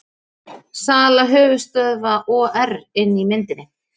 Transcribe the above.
Sala höfuðstöðva OR inni í myndinni